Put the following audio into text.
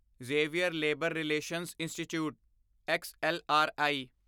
Xavier labour relations institute XLRI